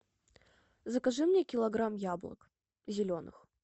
закажи мне килограмм яблок зеленых